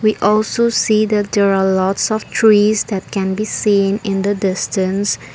we also see that there are lots of trees that can be seen in the distance.